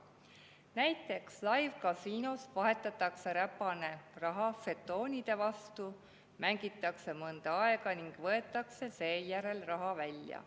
Näiteks live‑kasiinos vahetatakse räpane raha žetoonide vastu, mängitakse mõnda aega ning võetakse seejärel raha välja.